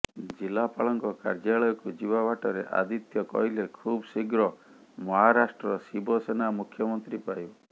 ଜିଲ୍ଲାପାଳଙ୍କ କାର୍ଯ୍ୟାଳୟକୁ ଯିବା ବାଟରେ ଆଦିତ୍ୟ କହିଲେ ଖୁବ୍ ଶୀଘ୍ର ମହାରାଷ୍ଟ୍ର ଶିବସେନା ମୁଖ୍ୟମନ୍ତ୍ରୀ ପାଇବ